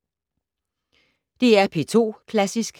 DR P2 Klassisk